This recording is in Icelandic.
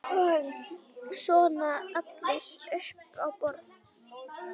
Svona allir upp á borð